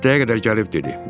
Xittəyə qədər gəlib dedi.